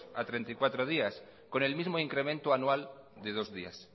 a treinta y cuatro días con el mismo incremento anual de dos días